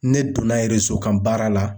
Ne donna kan baara la.